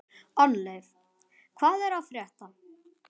Arnleif, hvað er að frétta?